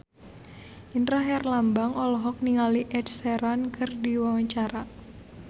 Indra Herlambang olohok ningali Ed Sheeran keur diwawancara